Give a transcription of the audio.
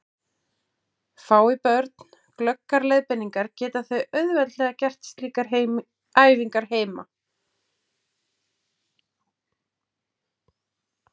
Fái börn glöggar leiðbeiningar geta þau auðveldlega gert slíkar æfingar heima.